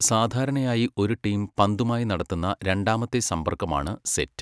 സാധാരണയായി ഒരു ടീം പന്തുമായി നടത്തുന്ന രണ്ടാമത്തെ സമ്പർക്കമാണ് സെറ്റ്.